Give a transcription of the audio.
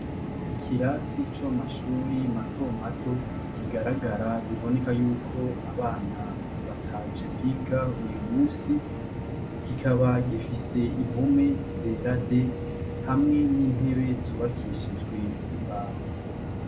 Ikirasi co mu mashuri matomato kigaragara, biboneka yuko abana bataje kwiga uyu musi, kikaba gifise impome zera de hamwe n'intebe zubakishijwe imbaho.